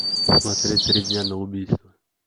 смотреть три дня на убийство